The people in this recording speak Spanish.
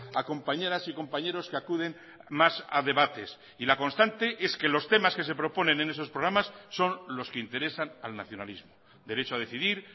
a compañeras y compañeros que acuden más a debates y la constante es que los temas que se proponen en esos programas son los que interesan al nacionalismo derecho a decidir